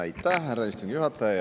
Aitäh, härra istungi juhataja!